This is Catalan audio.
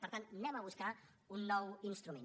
per tant anem a buscar un nou instrument